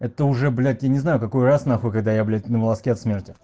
это уже блять я не знаю какой раз нахуй когда я на волоске от смери